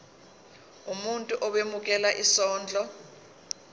umuntu owemukela isondlo